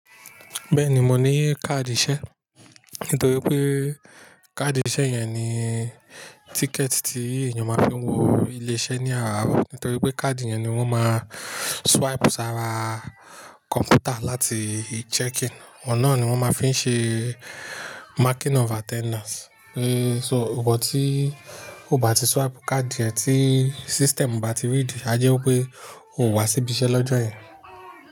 Bẹ́ẹ̀ni, mo ní káàdì iṣẹ́. Nítorí pé káàdì iṣẹ́ yẹn ni tíkẹ̀ẹ̀tì tí èèyàn máa fi wọ ilé iṣẹ́ ní àárọ̀. Nítorí pé káàdì yẹn ni wọ́n máa swipe sára kọ̀m̀pútà láti ì-checking, ọ̀nà náà ni wọ́n máa fi ń ṣe marking of attendance. Ehn, so ìwọ tí o bá ti swipe káàdì yẹn tí system o bá ti rí i, jáde pé òun wá síbí iṣẹ́ lọ́jọ́ yẹn.